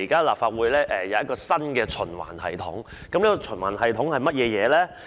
立法會現在有新的循環系統，這循環系統是甚麼？